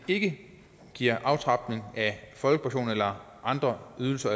ikke giver aftrapning af folkepension eller andre ydelser